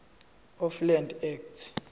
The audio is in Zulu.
of land act